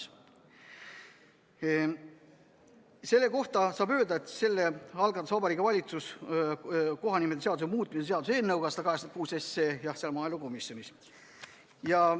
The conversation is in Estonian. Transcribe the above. Seaduseelnõu 186 kohta saab öelda, et selle algatas Vabariigi Valitsus kohanimeseaduse muutmise seaduse eelnõuna ja see on maaelukomisjonis.